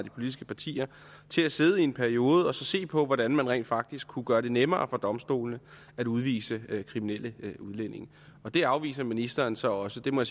af de politiske partier til at sidde i en periode og se på hvordan man rent faktisk kunne gøre det nemmere for domstolene at udvise kriminelle udlændinge det afviser ministeren så også det må